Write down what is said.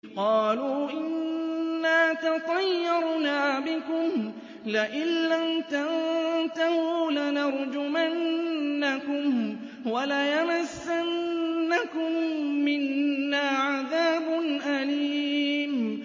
قَالُوا إِنَّا تَطَيَّرْنَا بِكُمْ ۖ لَئِن لَّمْ تَنتَهُوا لَنَرْجُمَنَّكُمْ وَلَيَمَسَّنَّكُم مِّنَّا عَذَابٌ أَلِيمٌ